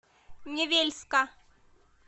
невельска